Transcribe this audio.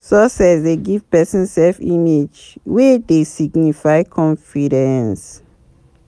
Success dey give person self image wey dey signify confidence